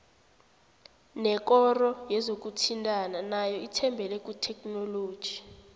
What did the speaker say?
nekoro yezokuthintana nayo ithembele kuthekhinoloji